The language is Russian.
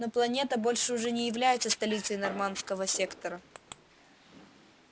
но планета больше уже не является столицей норманского сектора